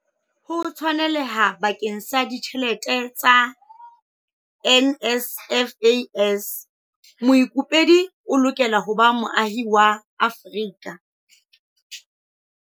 Ho tshwaneleha bakeng sa ditjhelete tsa NSFAS, moikopedi o lokela ho ba moahi wa Afrika